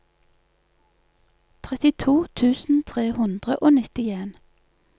trettito tusen tre hundre og nittien